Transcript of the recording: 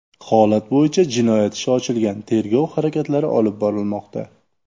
Holat bo‘yicha jinoyat ishi ochilgan, tergov harakatlari olib borilmoqda.